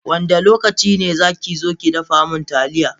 Wanda lokaci ne za ki zu ki dafa min taliya?